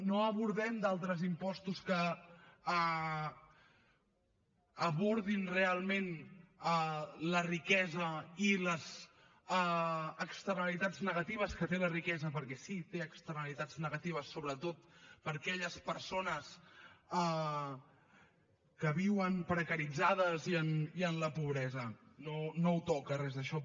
no abordem altres impostos que abordin realment la riquesa i les externalitats negatives que té la riquesa perquè sí té externalitats negatives sobretot per a aquelles persones que viuen precaritzades i en la pobresa no ho toca res d’això